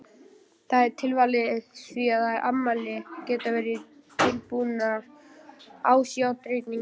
Það er tilvalið, því að eftirmæli geta verið dulbúnar ástarjátningar.